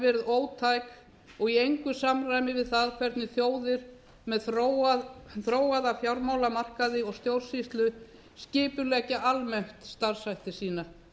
hafi verið ótæk og í engu samræmi við það hvernig þjóðir með þróaða fjármálamarkaði og stjórnsýslu skipuleggja almennt starfshætti sína